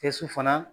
Kɛsu fana